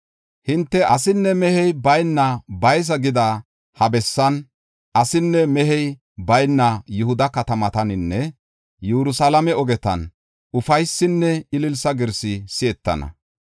“Hinte, ‘Asinne mehey bayna baysa’ gida ha bessan, asinne mehey bayna Yihuda katamataninne Yerusalaame ogetan ufaysinne ililsa girsi si7etana.